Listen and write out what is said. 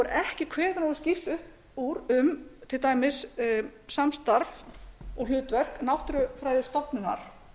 ekki kveðið nógu skýrt upp úr um til dæmis samstarf og hlutverk náttúrufræðistofnunar